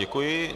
Děkuji.